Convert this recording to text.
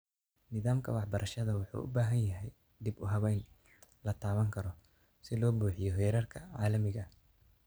Nidaamka waxbarashada wuxuu ubaahan yahay dib-u-habayn lataaban karo si loo buuxiyo heerarka caalamiga ah.